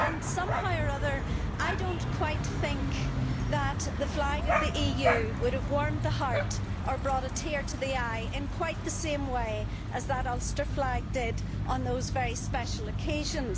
Somehow or other I do not quite think that the flag of the EU would have warmed the heart or brought a tear to the eye in quite the same way as that Ulster flag did on those very special occasions.